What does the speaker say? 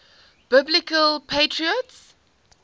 biblical patriarchs